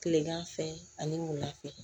Kilegan fɛ ani wula fɛ